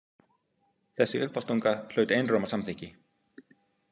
Þessi uppástunga hlaut einróma samþykki.